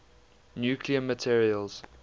nuclear materials